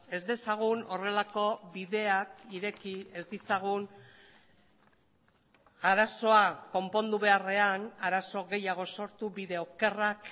ez dezagun horrelako bideak ireki ez ditzagun arazoa konpondu beharrean arazo gehiago sortu bide okerrak